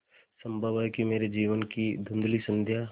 संभव है कि मेरे जीवन की धँुधली संध्या